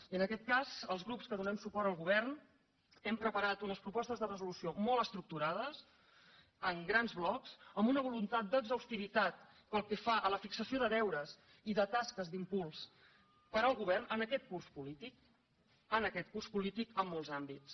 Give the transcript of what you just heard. i en aquest cas els grups que donem suport al govern hem preparat unes propostes de resolució molt estructurades en grans blocs amb una voluntat d’exhaustivitat pel que fa a la fixació de deures i de tasques d’impuls per al govern en aquest curs polític en aquest curs polític en molts àmbits